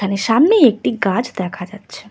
এখানে সামনে একটি গাছ দেখা যাচ্ছে।